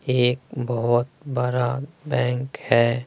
एक बहोत बड़ा बैंक है।